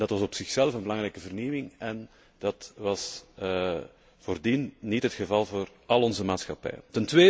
Dat was op zichzelf een belangrijke vernieuwing en dat was voordien niet het geval voor al onze maatschappijen.